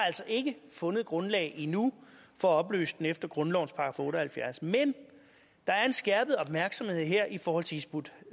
altså ikke fundet grundlag endnu for at opløse den efter grundlovens § otte og halvfjerds men der er en skærpet opmærksomhed her i forhold til hizb ut